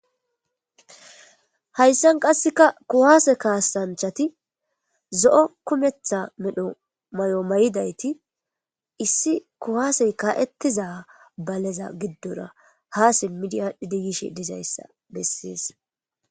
Hayssan qassika kuwaase kaassanchati zo7o kumetha medho mayo mayidayti issi kuwaasey kaa7ettiza baleza giddora haa simmidi aadhidi yishe dizayssa bessees.